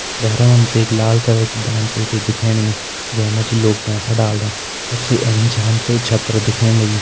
भैरा मा हम तैं एक लाल रंग की दान पेटी दिखेण लगीं जै मा जी लोग पैसा डालदन सबसे ऐंच हमें छत्र दिखेण लग्युं।